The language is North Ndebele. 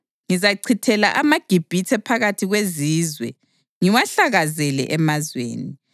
Ngizachithela amaGibhithe phakathi kwezizwe ngiwahlakazele emazweni.